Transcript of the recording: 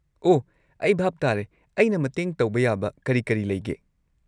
ꯑꯣꯍ ꯑꯩ ꯚꯥꯞ ꯇꯥꯔꯦ꯫ ꯑꯩꯅ ꯃꯇꯦꯡ ꯇꯧꯕ ꯌꯥꯕ ꯀꯔꯤ ꯀꯔꯤ ꯂꯩꯒꯦ?